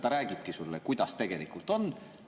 Ta räägibki sulle, kuidas tegelikult on.